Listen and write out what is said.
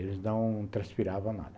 Eles não transpiravam nada.